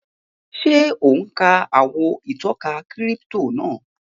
Ṣé ò ún ka àwọn ìtọ́ka kírípítò náà?